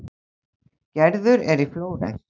Gerður er í Flórens.